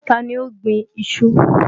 Ta ni ó gbin iṣu?